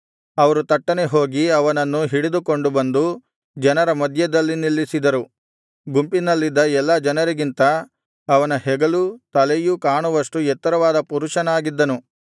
ಅವರು ತಟ್ಟನೆ ಹೋಗಿ ಅವನನ್ನು ಹಿಡಿದುಕೊಂಡು ಬಂದು ಜನರ ಮಧ್ಯದಲ್ಲಿ ನಿಲ್ಲಿಸಿದರು ಗುಂಪಿನಲ್ಲಿದ್ದ ಎಲ್ಲಾ ಜನರಿಗಿಂತ ಅವನ ಹೆಗಲೂ ತಲೆಯೂ ಕಾಣುವಷ್ಟು ಎತ್ತರವಾದ ಪುರುಷನಾಗಿದ್ದನು